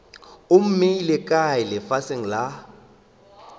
o mmeile kae lefaseng la